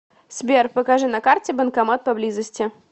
сбер покажи на карте банкомат поблизости